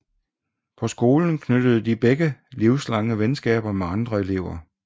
På skolen knyttede de begge livslange venskaber med andre elever